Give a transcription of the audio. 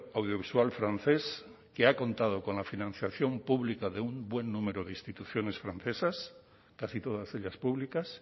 audiovisual francés que ha contado con la financiación pública de un buen número de instituciones francesas casi todas ellas públicas